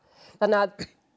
þannig að